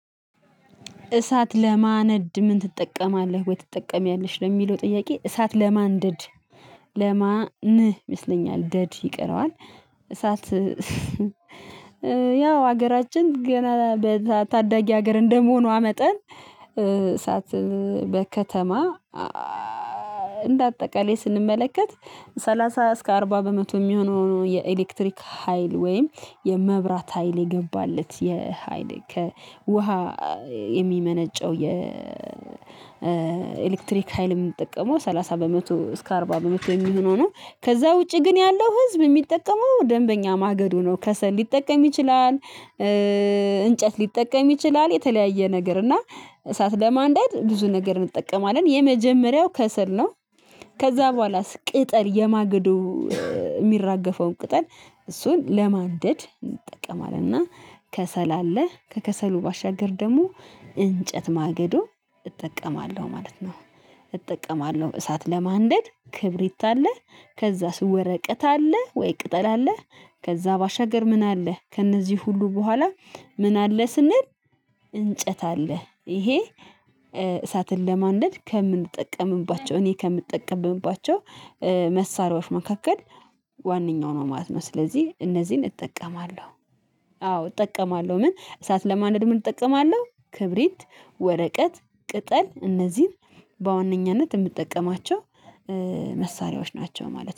እሳት ለማንደድ ምን ትጠቀማለህ ወይ ትጠቀሚያለሽ? ለሚለው ጥያቄ እሳት ለማንደድ ለማን ይመስለኛል ደድ ይቀረዋል እሳት ያው ሀገራችን ገና ታዳጊ ሀገር እንደመሆኗ መጠን እሳት በከተማ እንደ አጠቃላይ ስንመለከት ሰላሳ እስከ አርባ በመቶ የሚሆነው የኤሌክትሪክ ሀይል ወይም የመብራት ሀይል የገባለት የሀይል ከ ውሃ የሚመነጨው የኤሌክትሪክ ሀይልን የምንጠቀመው ሰላሳ በመቶ እስከ አርባ በመቶ የሚሆነው ነው ከዛ ውጪ ግን ያለው ህዝብ የሚጠቀመው ደንበኛ ማገዶ ነው ከሰል ሊጠቀም ይችላል እንጨት ሊጠቀም ይችላል የተለያየ ነገር እና እሳት ለማንደድ ብዙ ነገር እንጠቀማለን የመጀመሪያው ከሰል ነው ከዛ በኋላስ ቅጠል የማገዶ የሚራገፈውን ቅጠል እሱን ለማደድ እንጠቀማለን እና ከሰል አለ ከከሰሉ ባሻገር ደግሞ እንጨት ማገዶ እጠቀማለሁ ማለት ነው እጠቀማለሁ እሳት ለማንደድ ክብሪት አለ ከዛ ወረቀት አለ ወይ ቅጠል አለ ከዛ ባሻገር ምን አለ ከእነዚህ ሁሉ በኋላ ምን አለ ስንል እንጨት አለ ይሄ እሳትን ለማንደድ ከምንጠቀምባቸው እኔ ከምንጠቀምባቸው መሳሪያዎች መካከል ዋነኛው ነው ማለት ነው ስለዚህ እነዚህን እጠቀማለሁ አዎ እጠቀማለሁ ምን እሳት ለማንደድ ምን እጠቀማለሁ ክብሪት ወረቀት ቅጠል እነዚህን በዋነኛነት የምጠቀማቸው መሳሪያዎች ናቸው ማለት ነው